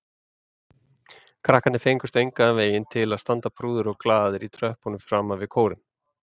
Krakkarnir fengust engan veginn til að standa prúðir og glaðir í tröppunum framan við kórinn.